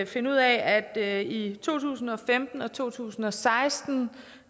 finde ud af at i to tusind og femten og to tusind og seksten